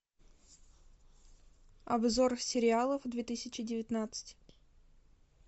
обзор сериалов две тысячи девятнадцать